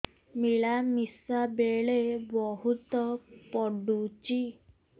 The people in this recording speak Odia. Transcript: ମିଳାମିଶା ବେଳେ ବହୁତ ପୁଡୁଚି